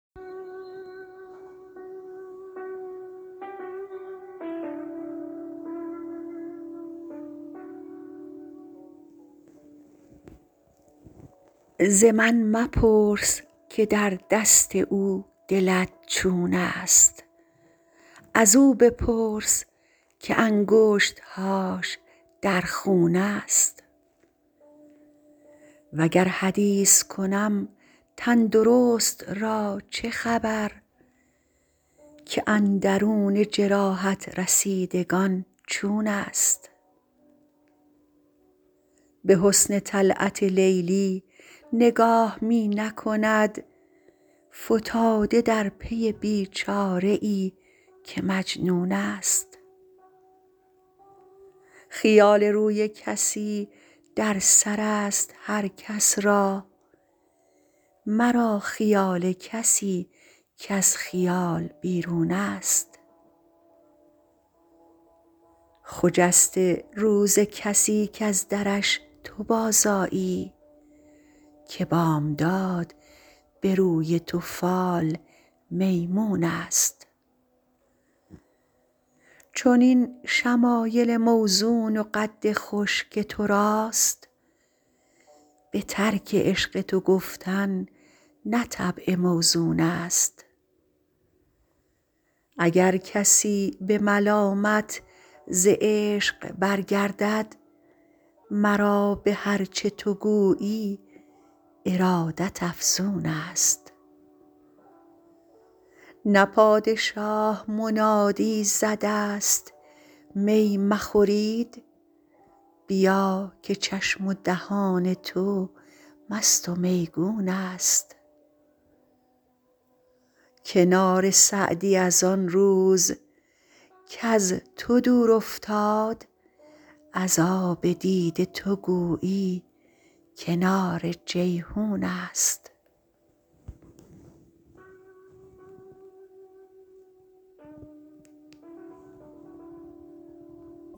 ز من مپرس که در دست او دلت چون است ازو بپرس که انگشت هاش در خون است وگر حدیث کنم تن درست را چه خبر که اندرون جراحت رسیدگان چون است به حسن طلعت لیلی نگاه می نکند فتاده در پی بی چاره ای که مجنون است خیال روی کسی در سر است هر کس را مرا خیال کسی کز خیال بیرون است خجسته روز کسی کز درش تو بازآیی که بامداد به روی تو فال میمون است چنین شمایل موزون و قد خوش که تو راست به ترک عشق تو گفتن نه طبع موزون است اگر کسی به ملامت ز عشق برگردد مرا به هر چه تو گویی ارادت افزون است نه پادشاه منادی زده است می مخورید بیا که چشم و دهان تو مست و میگون است کنار سعدی از آن روز کز تو دور افتاد از آب دیده تو گویی کنار جیحون است